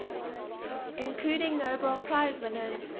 including nobel prize winners